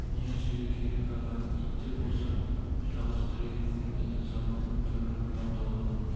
не істеуге керек аға ит те болса жалғыз тірегім еді заманның түрі мынау дауды